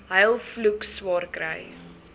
huil vloek swaarkry